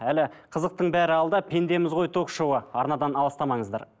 әлі қызықтың бәрі алда пендеміз ғой ток шоуы арнадан алыстамаңыздар